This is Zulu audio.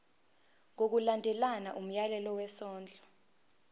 ngokulandela umyalelo wesondlo